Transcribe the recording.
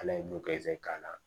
Ala ye dugazi k'a la